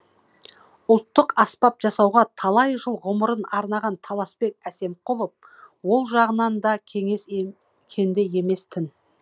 ұлттық аспап жасауға талай жыл ғұмырын арнаған таласбек әсемқұлов ол жағынан да кенде емес тін